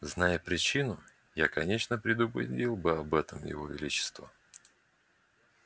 знай я причину я конечно предупредил бы об этом его величество